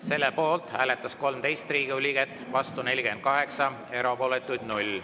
Selle poolt hääletas 13 Riigikogu liiget, vastu 48, erapooletuid 0.